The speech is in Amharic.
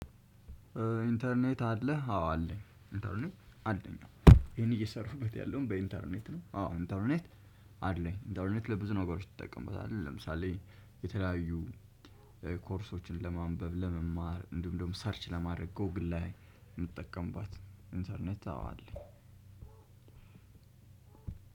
ኢንተርኔት አለ አዎ አለኝ ኢንተርኔት አለኝ ነው ይሄን እየሰራሁበት ያለውን በኢንተርኔት ነው። አዎ ኢተርኔት አለኝ ኢተርኔት ለብዙ ነገሮች ትጠቀምበታለህ? ለምሳሌ የተለያዩ ኮርሶችን ለማንበብ ለመማር እንዲሁም ደግሞ ሰርች ለማድረግ ጎግል አይ የምጠቀምባት ኢንተርኔት አወ አለኝ።